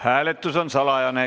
Hääletus on salajane.